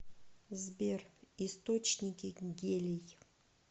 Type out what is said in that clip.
сбер источники гелий